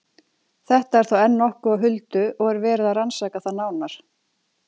Þetta er þó enn nokkuð á huldu og er verið að rannsaka það nánar.